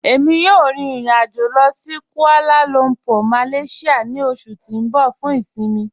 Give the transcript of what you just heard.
Ẹ̀mi yóò rín ìrìn-àjọ̀ lọ sí Kuala Lumpur, Malaysia ni oṣù tí n bọ̀ fún ìṣinmí.